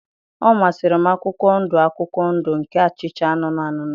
Ọ masịrị m akwụkwọ ndụ akwụkwọ ndụ ka acha anụnụ anụnụ